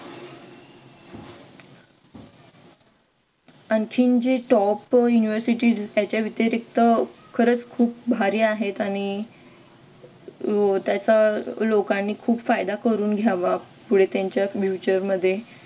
जे top university याच्या व्यतिरिक्त खरच खूप भारी आहेत आणि अह त्यांचा लोकांनी खूप फायदा करून घ्यावा पुढे त्यांच्या future मध्ये